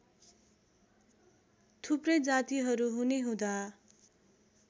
थुप्रै जातिहरू हुनेहुँदा